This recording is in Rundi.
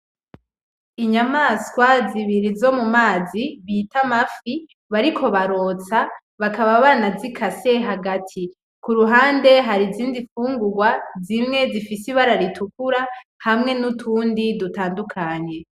Inyamaswa zibiri zo mu mazi, bita amafi, bariko bararota, bakaba banazikase hagati. Ku ruhande hari izindi fungugwa, zimwe zifise ibara ritukura hamwe n'utundi dutandukanye.